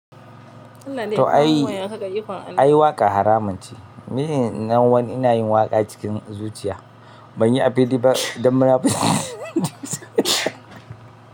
To ai, ai waƙa haramun ce. Ni nan wai ina yin waƙa cikin zuciya. Ban yi a fili ba dan munafunci.